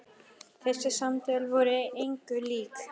Þessi samtöl voru engu lík.